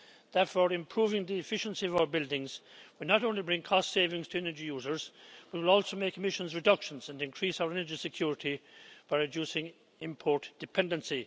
Therefore, improving the efficiency of our buildings will not only bring cost savings to energy users but will also make emissions reductions and increase our energy security for reducing import dependency.